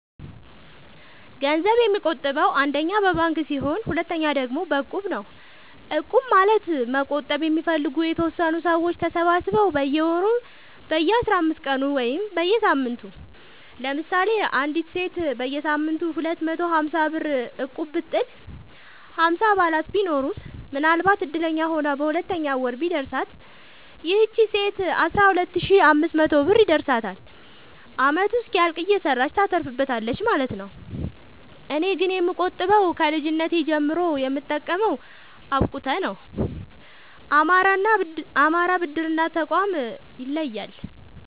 ገንዘብ የምቆ ጥበው አንደኛ በባንክ ሲሆን ሁለተኛ ደግሞ በእቁብ ነው እቁብ ማለት መቁጠብ የሚፈልጉ የተወሰኑ ሰዎች ተሰባስበው በየወሩ በየአስራአምስት ቀኑ ወይም በየሳምንቱ ለምሳሌ አንዲት ሴት በየሳምንቱ ሁለት መቶ ሀምሳብር እቁብጥል ሀምሳ አባላት ቢኖሩት ምናልባትም እድለኛ ሆና በሁለተኛው ወር ቢደርሳት ይቺ ሴት አስራሁለት ሺ አምስት መቶ ብር ይደርሳታል አመቱ እስኪያልቅ እየሰራች ታተርፋለች ማለት ነው። እኔ ግን የምቆጥበው ከልጅነቴ ጀምሮ የምጠቀመው አብቁተ ነው። አማራ ብድር እና ቁጠባ ጠቋም ይለያል።